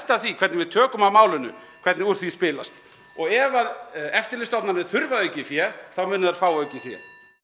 af því hvernig við tökum á málinu hvernig úr því spilast ef eftirlitsstofnanir þurfa aukið fé munu þær fá aukið fé